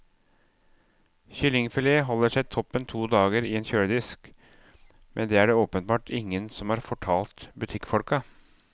Kyllingfilet holder seg toppen to dager i en kjøledisk, men det er det åpenbart ingen som har fortalt butikkfolka.